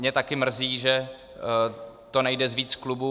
Mě taky mrzí, že to nejde z více klubů.